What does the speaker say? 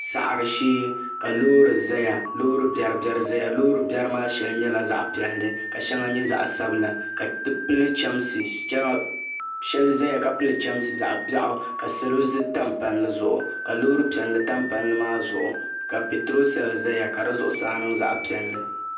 Saɣari shee ka loori zaya Loori biɛri biɛri zaya loori biɛri maa sheŋa nyɛla zaɣa piɛlli ka sheŋa nyɛ zaɣa sabila sheli zaya ka pili chemsi zaɣa biaɣu salo tam palli zuɣu ka loori piɛlli tam palli maa zuɣu ka petro sel zaya ka di zuɣusaa niŋ zaɣa piɛlli.